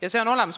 Ka see on olemas.